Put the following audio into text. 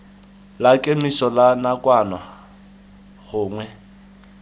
la kemiso la nakwana gongwe